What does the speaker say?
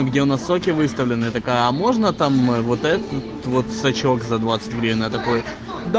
где в настройки выставлены такая а можно там вот этот вот сочок за двадцать гривен и я такой да